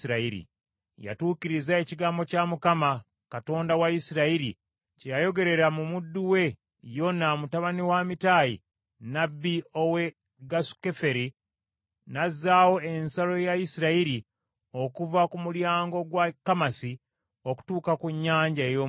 Yatuukiriza ekigambo kya Mukama , Katonda wa Isirayiri kye yayogerera mu muddu we Yona mutabani wa Amitayi nnabbi ow’e Gasukeferi, n’azzaawo ensalo ya Isirayiri okuva ku mulyango gwa Kamasi okutuuka ku Nnyanja ey’Omunnyo.